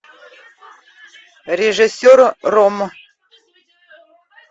режиссер ромм